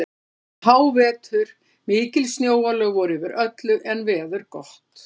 Þetta var um hávetur, mikil snjóalög voru yfir öllu en veður gott.